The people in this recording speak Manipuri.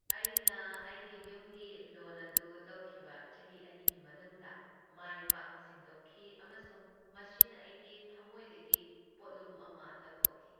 ꯑꯩꯅ ꯑꯩꯒꯤ ꯌꯨꯝꯒꯤ ꯂꯣꯟ ꯑꯗꯨ ꯂꯧꯈꯤꯕ ꯆꯍꯤ ꯑꯅꯤꯒꯤ ꯃꯅꯨꯡꯗ ꯃꯥꯏ ꯄꯥꯛꯅ ꯁꯤꯡꯗꯣꯛꯈꯤ ꯑꯃꯁꯨꯡ ꯃꯁꯤꯅ ꯑꯩꯒꯤ ꯊꯝꯃꯣꯏꯗꯒꯤ ꯄꯣꯠꯂꯨꯝ ꯑꯃ ꯂꯧꯊꯣꯛꯈꯤ꯫